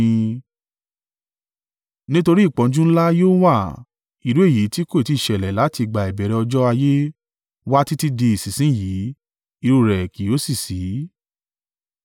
Nítorí ìpọ́njú ńlá yóò wà, irú èyí tí kò tí ì ṣẹlẹ̀ láti ìgbà ìbẹ̀rẹ̀ ọjọ́ ayé wá títí di ìsinsin yìí irú rẹ̀ kì yóò sì ṣí.